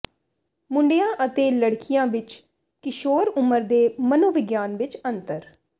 ਮੁੰਡਿਆਂ ਅਤੇ ਲੜਕੀਆਂ ਵਿਚ ਕਿਸ਼ੋਰ ਉਮਰ ਦੇ ਮਨੋਵਿਗਿਆਨ ਵਿਚ ਅੰਤਰ